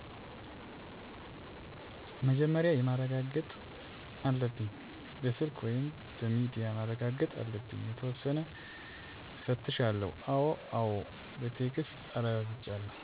መጀመርያ ማርጋገጥአለብኝ በስልክ ወይም በምድያ ማርጋገጥ አለብኝ የተወሰነ እፈትሻለው አወ አወ በቴክስት አራጋግጫለው